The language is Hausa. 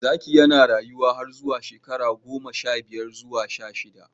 Zaki yana rayuwa har zuwa shekaru goma sha biyar zuwa sha shida.